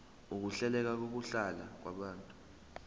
ukuhleleka kokuhlala kwabantu